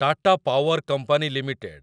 Tata power company limited